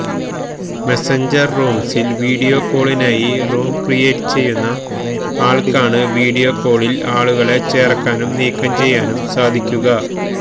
Messenger റൂംസിൽ video കോളിനായി room create ചെയ്യുന്ന ആള്ക്കാണ് വീഡിയോ കോളില് ആളുകളെ ചേര്ക്കാനും നീക്കം ചെയ്യാനും സാധിക്കുക